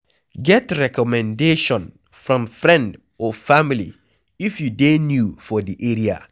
Get recommendation from friend or family if you dey new for di area